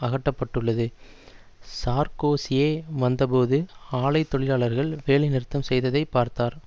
அகப்பட்டுள்ளது சார்க்கோசியே வந்தபோது ஆலை தொழிலாளர்கள் வேலைநிறுத்தம் செய்ததை பார்த்தார்